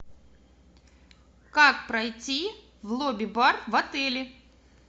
как пройти в лобби бар в отеле